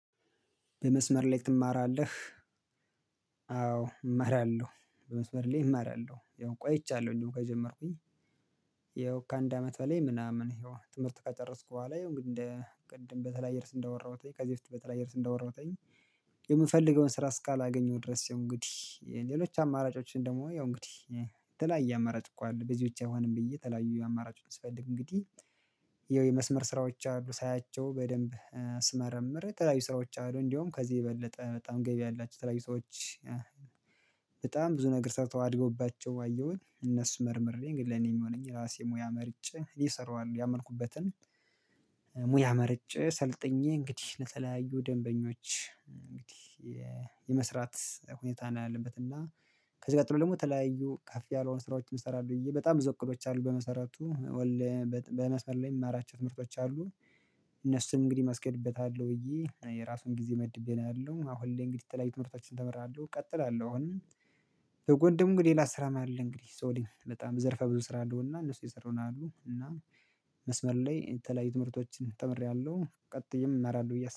በመስመር ላይ ትማራለህ? አዎ እማራለሁ። በመስመር ላይ እማራለሁ። ያው ቆይቻለሁ እንዲው ከጀመርኩኝ ያው ከአንድ አመት በላይ ምናምን ይኸው ትምህርት ከጨረስኩ በኋላ ይኸው እንግዲህ እንደ ቅድም በተለያየ ርዕስ እንዳወራሁት ላይ ከዚህ በፊት በተለያየ ርዕስ እንዳወራሁትኝ የምፈልገውን ስራ እስካላገኘው ድረስ እንግዲህ ሌሎች አማራጮችን ደግሞ ያው እንግዲህ የተለያየ አማራጭ እኮ አለ በዚህ ብቻ አይሆንም ብዬ የተለያዩ አማራጮች ስፈልግ እንግዲህ ይኸው የመስመር ስራዎች አሉ ሳያቸው በደንብ ስመረምር የተለያዩ ስራዎች አሉ። እንዲያውም ከዚህ የበለጠ በጣም ገቢ ያላቸው የተለያዩ ስራዎች በጣም ብዙ ነገር ሰርተው አድገውባቸው አየሁኝ። እነሱ መርምሬ እንግዲህ ለኔ የሚሆነኝ የራሴ ሙያ መርጬ እኔ እሰራዋለሁ ያመንኩበትን ሙያ መርጬ ሰልጥኜ እንግዲህ ለተለያዩ ደንበኞች እንግዲህ የመስራት ሁኔታ ነው ያለበት እና ከዚያ ቀጥሎ ደግሞ የተለያዩ ከፍ ያልሆኑ ስራዎችን እንሰራለሁ ብዬ በጣም ብዙ እቅዶች አሉ በመሰረቱ ኦንላይን በጥ በመስመር ላይ የምማራቸው ትምህርቶች አሉ። እነሱን እንግዲህ ማስኬድበታለሁ ብዬ የራሴን ጊዜ መድቤ ነው ያለው። አሁን ላይ እንግዲህ የተለያዩ ትምህርቶችን ተምሬያለሁ እቀጥላለሁ አሁንም በጎን ደግሞ ሌላ ስራም አለ እንግዲህ ሰው ልጅ በጣም ዘርፈ ብዙ ስራ አለው እና እነሱ እየሰራው ነው ያለሁ እና መስመር ላይ የተለያዩ ትምህርቶችን ተምሬያለሁ ቀጥዬም እማራለሁ ብዬ አስ